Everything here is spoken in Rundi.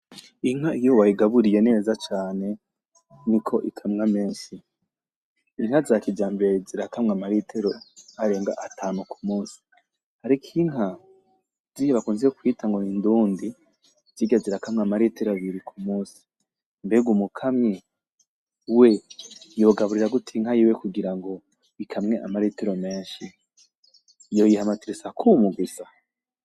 Inka iyo wayigaburiye neza cane niko ikamwa amata menshi .Inka zakijambere zirakamwa ama ritiro arenga atanu k'umunsi ;ariko inka zirya bakunze kwita ngo n'indundi ,zirya zirakamwa ama ritiro abiri k'umusi. Mbega umukamyi we yogaburira gute inka yiwe kugira ngo ikamwe ama ritiro menshi ? Yoyiha ama tiribisakumu gusa?